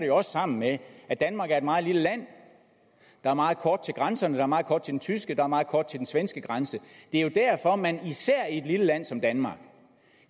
jo også sammen med at danmark er meget lille land der er meget kort til grænserne der er meget kort til den tyske der er meget kort til den svenske grænse det er jo derfor at man især i et lille land som danmark